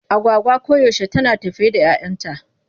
Agwagwa koyaushe tana tafe da 'yayanta.